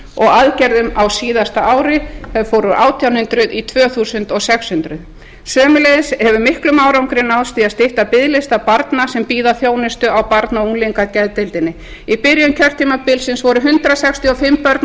og aðgerðum á síðasta ári þær fóru úr átján hundruð í tvö þúsund sex hundruð sömuleiðis hefur mikill árangur náðst í að stytta biðlista barna sem bíða þjónustu á barna og unglingageðdeildinni í byrjun kjörtímabilsins voru hundrað sextíu og fimm börn á